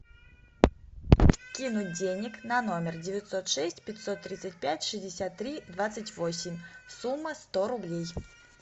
кинуть денег на номер девятьсот шесть пятьсот тридцать пять шестьдесят три двадцать восемь сумма сто рублей